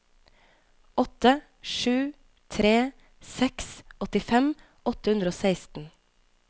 åtte sju tre seks åttifem åtte hundre og seksten